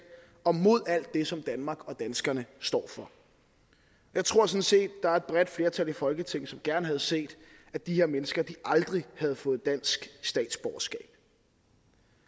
og mod alt det som danmark og danskerne står for jeg tror sådan set der er et bredt flertal i folketinget som gerne havde set at de her mennesker aldrig havde fået dansk statsborgerskab